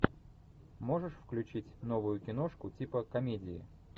можешь включить новую киношку типа комедии